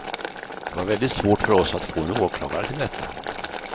Det var väldigt svårt för oss att få en åklagare till detta.